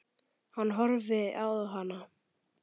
Hann horfði á hana.